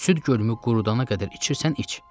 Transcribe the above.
Süd gölümü qurudana qədər içirsən, iç.